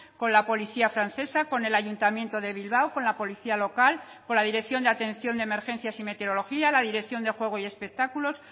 con la policía francesa con el ayuntamiento de bilbao con la policía local con la dirección de atención de emergencias y meteorología la dirección de juego y espectáculos